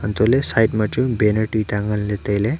untohley side ma chu banner tuita nganley tailey.